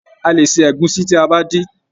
A lè ṣe egusi ti aba dín.